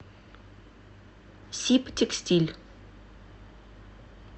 сибтекстиль